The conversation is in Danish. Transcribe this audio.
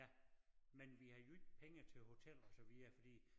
Ja men vi havde jo ikke penge til hotel og så videre fordi